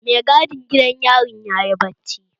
Mai gadin gidan yarin yayi bacci